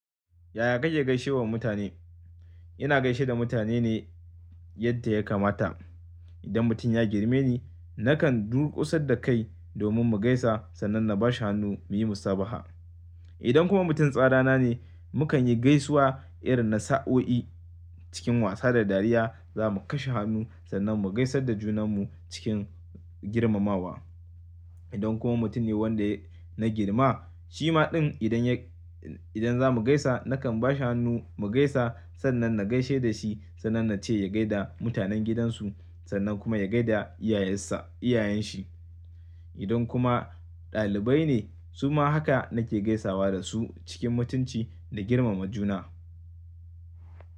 Yaya kake gaishewa mutane? Ina gaishe da mutane ne yadda ya kamata. Idan mutum ya girme ni, nakan durƙusar da kai domin mu gaisa sannan na bashi hannu muyi musabaha. Idan kuma mutum tsara na ne, mukan yi gaisuwa irin na sa'o'i cikin wasa da dariya. Za mu kashe hannu sannan mu gaisar da junanmu cikin girmamawa. Idan kuma mutum ne wanda na girma, shi ma idan za mu gaisa, nakan ba shi hannu mu gaisa sannan na gaishe da shi sannan na ce ya gaishe da mutanen gidansu sannan kuma ya gaishe da iyayen shi. Idan kuma ɗalibai ne, su ma haka nake gaisawa da su cikin mutunci da girmama juna.